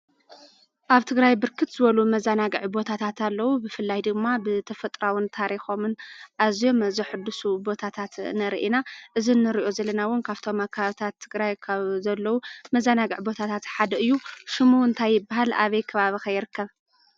ኣብ ትግራይ ብርክት ዝበሉ መዛናግዕታት ቦታት ኣለዉ። ብፍላይ ድማ ብተጥሮኣውን ታሪኮምን አዝዮም ዘሕድሱ ቦታትት ንርኢ ኢና። እዚ ንሪኦም ዘለና እውን ካብቶም ኣብ ከባብታት ትግራይ ካብ ዘለው መዘናግዒ ቦታትት ሓደ እዩ። ሽሙ እንታይ ይበሃል? አበይ ከባቢ ከ ይርከብ?